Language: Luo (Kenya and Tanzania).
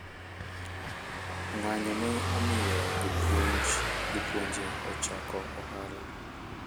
ng'anyo ne omiyo jopuonje ochako ohala